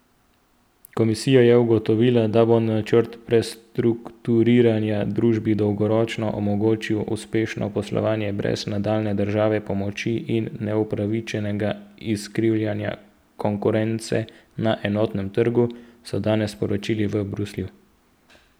Komisija je ugotovila, da bo načrt prestrukturiranja družbi dolgoročno omogočil uspešno poslovanje brez nadaljnje državne pomoči in neupravičenega izkrivljanja konkurence na enotnem trgu, so danes sporočili v Bruslju.